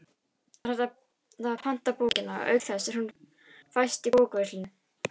Þar er hægt að panta bókina, auk þess sem hún fæst í bókaverslunum.